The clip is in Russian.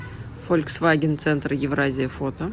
фольксваген центр евразия фото